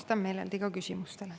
Vastan meeleldi küsimustele.